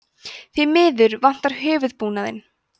því miður vantar höfuðbúnaðinn